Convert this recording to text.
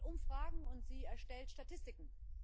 Sie macht Umfragen und sie erstellt Statistiken.